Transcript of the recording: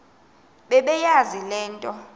bebeyazi le nto